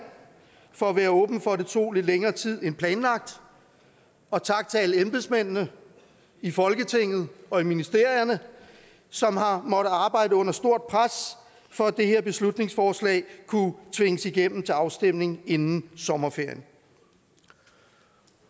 for at være åben for at det tog lidt længere tid end planlagt og tak til alle embedsmændene i folketinget og i ministerierne som har måttet arbejde under stort pres for at det her beslutningsforslag kunne tvinges igennem til afstemning inden sommerferien